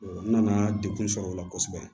n nana degun sɔrɔ o la kosɛbɛ